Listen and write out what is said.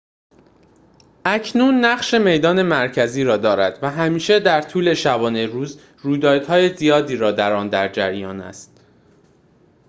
اکنون نقش میدان مرکزی را دارد و همیشه در طول شبانه روز رویدادهای زیادی در آن در جریان است